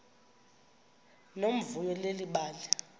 nomvuyo leli bali